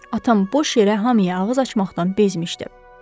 Atam boş yerə hamıya ağız açmaqdan bezmişdi.